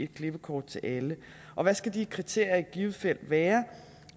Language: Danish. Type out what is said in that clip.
klippekort til alle og hvad skal de kriterier i givet fald være